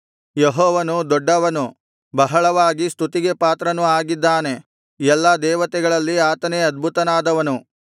ಯೆಹೋವನು ದೊಡ್ಡವನು ಬಹಳವಾಗಿ ಸ್ತುತಿಗೆ ಪಾತ್ರನು ಆಗಿದ್ದಾನೆ ಎಲ್ಲಾ ದೇವತೆಗಳಲ್ಲಿ ಆತನೇ ಅದ್ಭುತನಾದವನು